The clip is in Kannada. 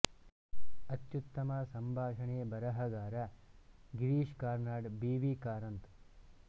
ಅತ್ಯುತ್ತಮ ಸಂಭಾಷಣೆ ಬರಹಗಾರ ಗಿರೀಶ್ ಕಾರ್ನಾಡ್ ಬಿ ವಿ ಕಾರಂತ್